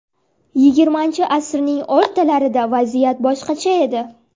Yigirmanchi asrning o‘rtalarida vaziyat boshqacha edi.